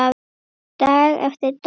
Dag eftir dag.